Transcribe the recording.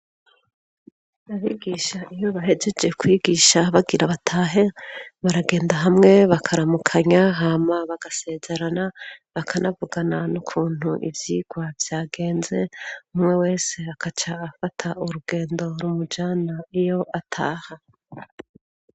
Abigisha iyo bahejeje kwigisha bagira batahe baragenda hamwe bakaramukanya hama bagasezerana bakanavugana n'ukuntu ivyirwa vyagenze umwe wese akaca afata urugendo ri umujana iyo ataha.